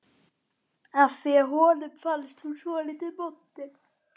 af því að honum fannst hún svolítið montin.